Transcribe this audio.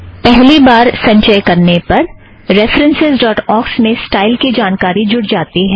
पहली बार संचय करने पर रेफ़रन्सस् ड़ॉट ऑक्स में स्टाइल की जानकारी जुड़ जाती है